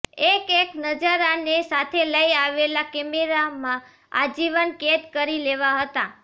એકએક નજારા ને સાથે લઇ આવેલા કેમેરા માં આજીવન કેદ કરી લેવા હતા